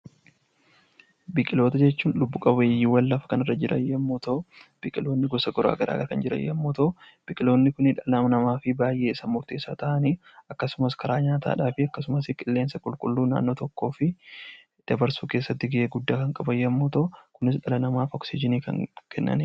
Biqiloota jechuun lubbu qabeeyyiiwwan lafa kanarra jiran yommuu ta'u, biqiloonni gosa garaa garaadha kan jiran yommuu ta'u, biqiloonni kun dhala namaaf baay'ee murteessaa ta'anii akkasumas karaa nyaataadhaafi akkasumas qilleensa qulqulluu naannoo tokkoof dabarsuu keessatti gahee guddaa kan qaban yommuu ta'u kunis dhala namaaf oksijinii kan kennanidha.